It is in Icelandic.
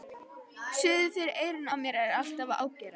Suðið fyrir eyrunum á mér er alltaf að ágerast.